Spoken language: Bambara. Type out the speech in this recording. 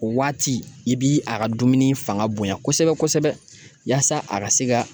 O waati i bi a ka dumuni fanga bonya kosɛbɛ kosɛbɛ yaasa a ka se ka